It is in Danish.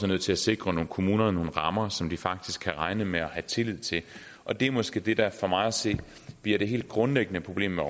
nødt til at sikre kommunerne nogle rammer som de faktisk kan regne med og have tillid til og det er måske det der for mig at se bliver det helt grundlæggende problem med